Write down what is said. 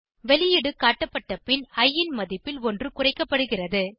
வெளியீடு காட்டப்பட்ட பின் இ ன் மதிப்பில் ஒன்று குறைக்கப்படுகிறது